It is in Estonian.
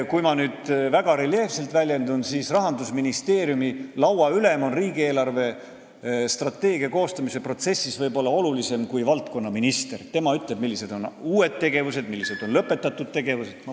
Kui ma nüüd väga reljeefselt väljendun, siis võin öelda, et Rahandusministeeriumi lauaülem on riigi eelarvestrateegia koostamise protsessis võib-olla olulisem kui valdkonnaminister, sest tema ütleb, millised on uued tegevused ja millised on lõpetatud tegevused.